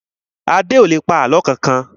Adé ò lè pa àlọ́ kankan